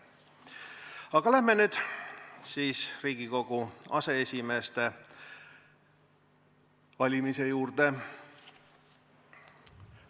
Aga lähme nüüd Riigikogu aseesimeeste valimise juurde.